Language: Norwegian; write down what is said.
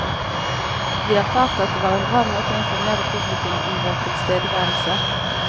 Vi erfarte at det var en bra måte å informere publikum om vår tilstedeværelse.